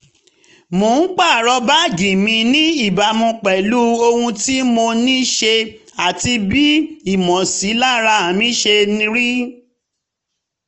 mo ń pààrọ̀ báàgì mi ní ìbámu pẹ̀lú ohun tí mo ní ṣe àti bí ìmọ̀sílára mi ṣe rí